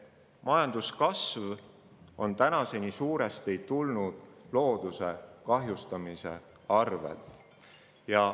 Paraku on majanduskasv tänaseni tulnud suuresti looduse kahjustamise arvelt.